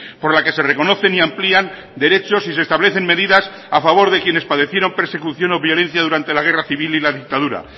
por la que se reconocen y amplían derechos y se establecen medidas a favor de quienes padecieron persecución o violencia durante la guerra civil y la dictadura